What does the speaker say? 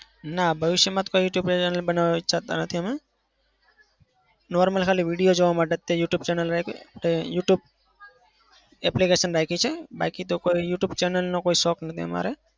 ના ભવિષ્યમાં કોઈ youtube channel બનાવા ઈચ્છતા નથી અમે. normal ખાલી video જોવા માટે જ તે youtube channel રાખી youtube application રાખી છે. બાકી તો કોઈ youtube channel નો કોઈ શોખ નથી અમારે.